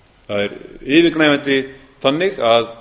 það er yfirgnæfandi þannig að